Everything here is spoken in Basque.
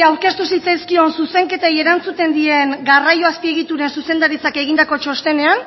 aurkeztu zitzaizkion zuzenketei erantzuten dien garraio azpiegitura zuzendaritzak egindako txostenean